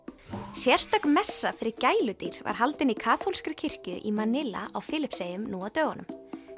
sérstök messa fyrir gæludýr var haldin í kaþólskri kirkju í á Filippseyjum nú á dögunum